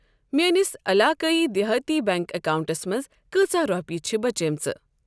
میٲنِس عِلاقایی دِہاتی بیٚنٛک اکاونٹَس منٛز کۭژاہ رۄپیہِ چھِ بچیمٕژ؟